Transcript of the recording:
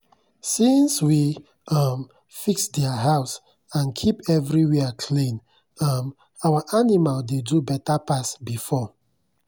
since we um fix their house and keep everywhere clean um our animal dey do better pass before.